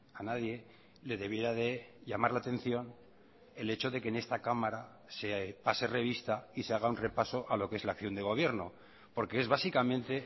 a nadie le debiera de llamar la atención el hecho de que en esta cámara se pase revista y se haga un repaso a lo que es la acción de gobierno porque es básicamente